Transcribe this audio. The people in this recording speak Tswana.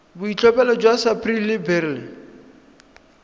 boitlhophelo jwa sapphire le beryl